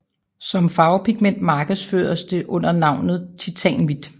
Som farvepigment markedsføres det under navnet titanhvidt